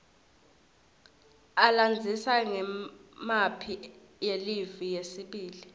alandzisa ngemphi yelive yesibili